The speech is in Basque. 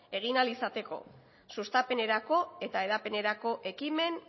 egin ahal izateko sustapenerako eta hedapenerako ekimen